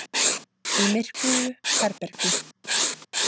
Í myrkvuðu herbergi.